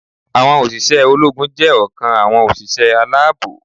Àwọn òṣìṣẹ́ ológun jé ọ̀kan àwọn òṣìṣẹ́ aláàbò